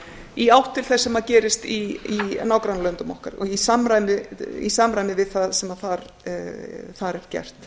í átt til þess sem gerist í nágrannalöndum okkar og í samræmi við það sem þar er gert